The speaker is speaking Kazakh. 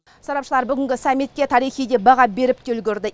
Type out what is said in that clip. сарапшылар бүгінгі саммитке тарихи деп баға беріп те үлгерді